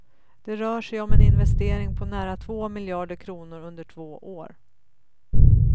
Det rör sig om en investering på nära två miljarder kronor under två år.